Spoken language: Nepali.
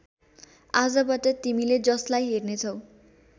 आजबाट तिमीले जसलाई हेर्नेछौ